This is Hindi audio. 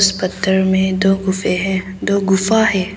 इस पत्थर में दो गुफे हैं दो गुफा है।